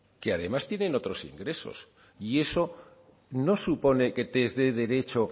que además tienen otros ingresos y eso no supone que tienes derecho